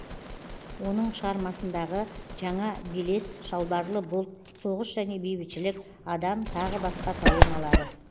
оның шығарм дағы жаңа белес шалбарлы бұлт соғыс және бейбітшілік адам тағы басқа поэмалары